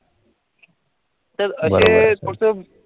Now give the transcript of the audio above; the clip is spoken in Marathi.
तर असेच पुढचं